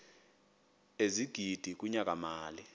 ezigidi kunyaka mali